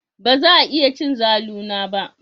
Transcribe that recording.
Baza a iya cin zalu na ba.